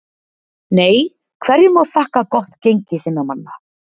NEI Hverju má þakka gott gengi þinna manna?